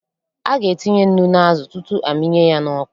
A ga-etinye nnu n'azụ, tutu a mịnye ya n'ọkụ.